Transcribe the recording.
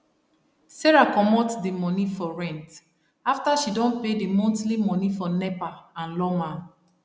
sarah comot d moni for rent after she don pay d monthly moni for nepa and lawma